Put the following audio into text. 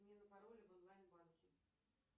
смена пароля в онлайн банке